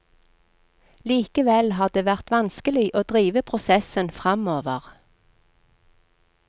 Likevel har det vært vanskelig å drive prosessen framover.